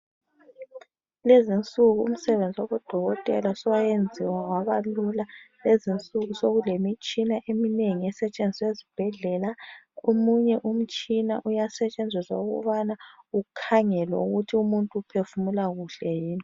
Kulezi insuku umsebenzi wabodoketela sowayenziwa wabalula. Kulezi insuku sokulemitshina eminengi esetshenziswa esibhedlela. Omunye umtshina uyasetshenziswa ukubana ukhangelwe ukuthi umuntu uphefumula kuhle yini.